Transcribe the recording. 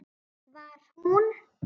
Var hún?!